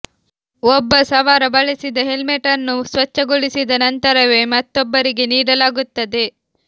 ಒಬ್ಬ ಸವಾರ ಬಳಸಿದ ಹೆಲ್ಮೆಟ್ ಅನ್ನು ಸ್ವಚ್ಛಗೊಳಿಸಿದ ನಂತರವೇ ಮತ್ತೊಬ್ಬರಿಗೆ ನೀಡಲಾಗುತ್ತದೆ